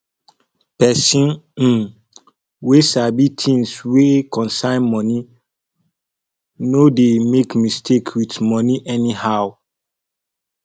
pesin um wey sabi tins wey concern moni no dey make mistake with moni anyhow